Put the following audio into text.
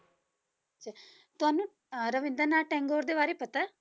ਅੱਛਾ ਤੁਹਾਨੂੰ ਅਹ ਰਵਿੰਦਰਨਾਥ ਟੈਗੋਰ ਦੇ ਬਾਰੇ ਪਤਾ ਹੈ?